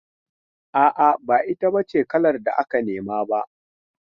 A'a, ba ita b ace kalar da aka nema ba.